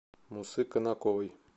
мусы конаковой